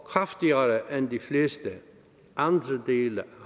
kraftigere end de fleste andre dele